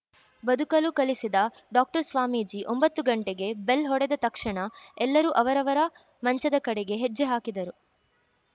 ಬದುಕಲು ಕಲಿಸಿದ ಡಾಕ್ಟರ್‌ ಸ್ವಾಮೀಜಿ ಒಂಬತ್ತು ಗಂಟೆಗೆ ಬೆಲ್‌ ಹೊಡೆದ ತಕ್ಷಣ ಎಲ್ಲರೂ ಅವರವರ ಮಂಚದ ಕಡೆಗೆ ಹೆಜ್ಜೆ ಹಾಕಿದರು